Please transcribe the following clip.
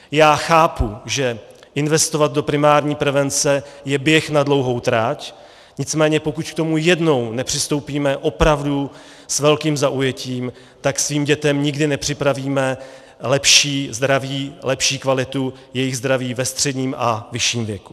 Já chápu, že investovat do primární prevence je běh na dlouhou trať, nicméně pokud k tomu jednou nepřistoupíme opravdu s velkým zaujetím, tak svým dětem nikdy nepřipravíme lepší zdraví, lepší kvalitu jejich zdraví ve středním a vyšším věku.